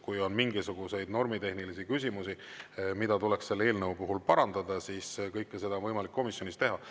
Kui on mingisuguseid normitehnilisi küsimusi, mida tuleks selle eelnõu puhul parandada, siis kõike seda on võimalik komisjonis teha.